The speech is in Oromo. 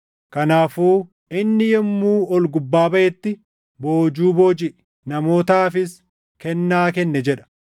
Kanaafuu, “Inni yommuu ol gubbaa baʼetti, boojuu boojiʼe; namootaafis kennaa kenne” + 4:8 \+xt Far 68:18\+xt* jedha.